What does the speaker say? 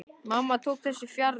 Mamma tók þessu fjarri.